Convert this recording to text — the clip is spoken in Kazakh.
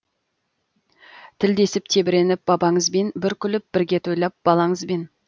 тілдесіп тебіреніп бабаңызбен бір күліп бірге тойлап балаңызбен